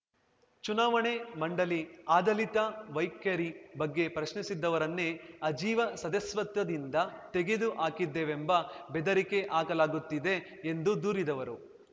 ಚುನಾವಣೆ ಮಂಡಳಿ ಆದಳಿತ ವೈಖರಿ ಬಗ್ಗೆ ಪ್ರಶ್ನಿಸಿದ್ದವರನ್ನೇ ಅಜೀವ ಸದಸ್ಯತ್ವದಿಂದ ತೆಗೆದು ಹಾಕಿದ್ದೇವೆಂಬ ಬೆದರಿಕೆ ಹಾಕಲಾಗುತ್ತಿದೆ ಎಂದು ದೂರಿದವರು